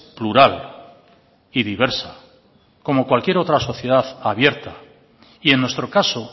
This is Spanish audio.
plural y diversa como cualquier otra sociedad abierta y en nuestro caso